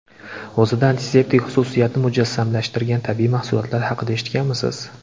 O‘zida antiseptik xususiyatni mujassamlashtirgan tabiiy mahsulotlar haqida eshitganmisiz?